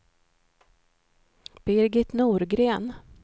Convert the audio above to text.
Birgit Norgren